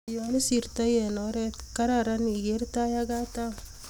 nyoisirtoi eng oret kararan igeer tai ak katam